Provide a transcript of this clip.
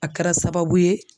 A kɛra sababu ye